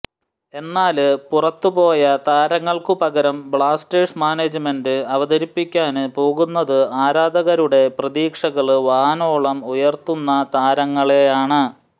എന്നാല് പുറത്തുപോയ താരങ്ങള്ക്കുപകരം ബ്ലാസ്റ്റേഴ്സ് മാനേജ്മെന്റ് അവതരിപ്പിക്കാന് പോകുന്നത് ആരാധകരുടെ പ്രതീക്ഷകള് വാനോളം ഉയര്ത്തുന്ന താരങ്ങളെയാണ്